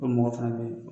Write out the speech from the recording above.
O mɔgɔ fana bɛ yen